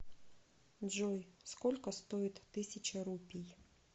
джой сколько стоит тысяча рупий